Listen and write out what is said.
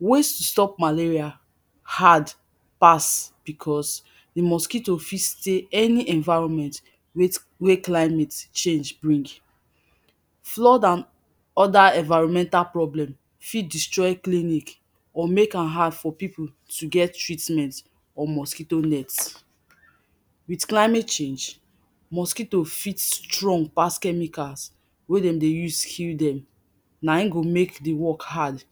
ways to stop malaria hard pass because de mosquito fit stay any environment with wey climate change bring flood and and other environmental problem fit destroy clinic or make am hard for pipu to get treatment or mosquito net with climate change mosquito fit strong pass chemicals wey dem dey use kill dem na him go make de work hard